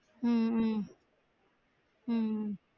உம் உம் உம் உம்